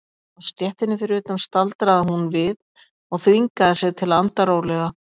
Á stéttinni fyrir utan staldraði hún við og þvingaði sig til að anda rólega.